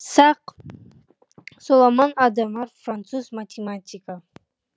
сак соломон адамар француз математигі